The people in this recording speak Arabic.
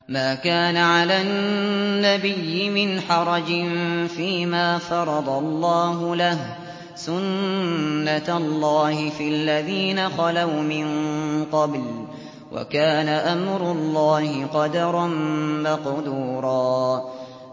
مَّا كَانَ عَلَى النَّبِيِّ مِنْ حَرَجٍ فِيمَا فَرَضَ اللَّهُ لَهُ ۖ سُنَّةَ اللَّهِ فِي الَّذِينَ خَلَوْا مِن قَبْلُ ۚ وَكَانَ أَمْرُ اللَّهِ قَدَرًا مَّقْدُورًا